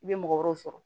I bɛ mɔgɔ wɛrɛw sɔrɔ